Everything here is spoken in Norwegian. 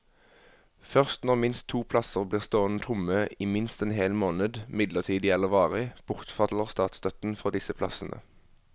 Først når minst to plasser blir stående tomme i minst en hel måned, midlertidig eller varig, bortfaller statsstøtten for disse plassene.